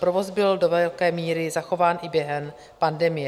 Provoz byl do velké míry zachován i během pandemie.